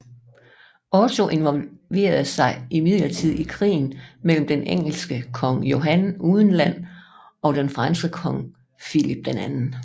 Otto involverede sig imidlertid i krigen mellem den engelske kong Johan uden Land og den franske kong Filip 2